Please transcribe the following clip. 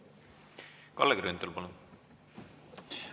Kalle Grünthal, palun!